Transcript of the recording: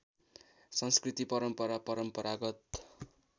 संस्कृति परम्परा परम्परागत